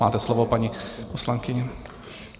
Máte slovo, paní poslankyně.